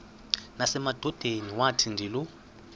nasemadodeni wathi ndilu